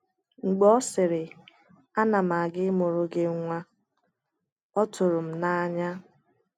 “Mgbè ọ sịrị, ‘Ana m aga ịmụrụ gị nwa,’ ọ tụrụ m n’anya.”